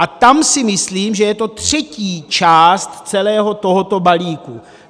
A tam si myslím, že je to třetí část celého tohoto balíku.